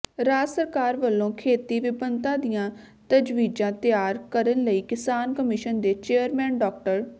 ਰਾਜ ਸਰਕਾਰ ਵੱਲੋਂ ਖੇਤੀ ਵਿਭਿੰਨਤਾ ਦੀਆਂ ਤਜਵੀਜ਼ਾਂ ਤਿਆਰ ਕਰਨ ਲਈ ਕਿਸਾਨ ਕਮਿਸ਼ਨ ਦੇ ਚੇਅਰਮੈਨ ਡਾ